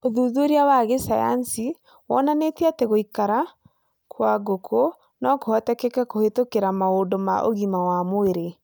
ũthuthuria wa gsayansi wonanĩtie at gũikara kwa ngũkũ no kũhoteteke kũhĩtũkĩra maũndũ ma ugima wa mwĩrĩ